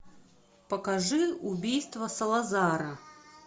покажи убийство салазара